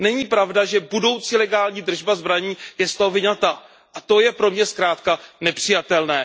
Není pravda, že budoucí legální držba zbraní je z toho vyňata, a to je pro mě zkrátka nepřijatelné.